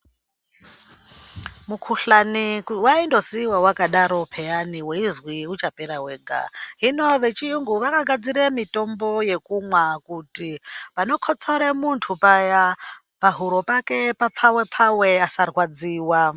Mukuhlani waindosiiwa wakadaro piyani weizwi uchapera wega hino vechirungu vanogadzira mitombo yekumwa kuti panokotsora muntu paya pahuro pake papfave pfave asarwadziwa.